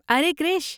ارے کرش!